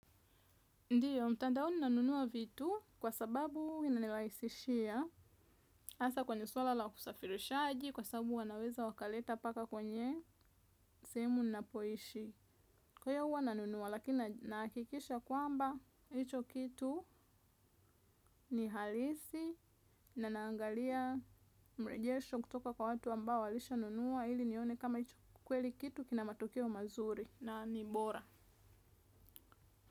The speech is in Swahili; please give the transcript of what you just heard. Ndio, mtandaoni nanunua vitu kwa sababu inanirahisishia hasa kwenye swala la usafirishaji kwa sababu wanaweza wakaleta mpaka kwenye sehemu napoishi. Kwa hiyo huwa nanunua lakina nahakikisha kwamba hicho kitu ni halisi, na naangalia mrejesho kutoka kwa watu ambao walishanunua ili nione kama hicho kweli kitu kina matokeo mazuri na ni bora.